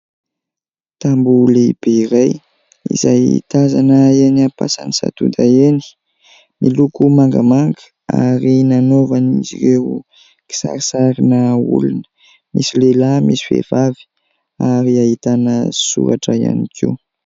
Tamboho lehibe iray izay tazana enỳ Ampasanisadoda enỳ miloko mangamanga ary nanaovany izy ireo kisarisarina olona misy lehilahy misy vehivavy ary ahitana soratra ihany koa.